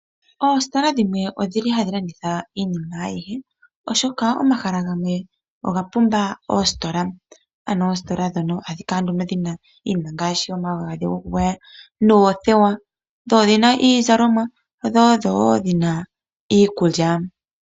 Oositola dhimwe odhili hadhi landitha iinima ayihe oshoka omahala gamwe ogapumba oositola, ano oositola dhono ohadhi kala nduno dhina iinima ngaashi, omagadhi gokugwaya, noothewa, dhodhina iizalomwa dho odhowo dhina iikulya.